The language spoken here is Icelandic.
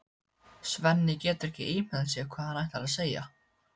Svenni getur ekki ímyndað sér hvað hann ætlar að segja.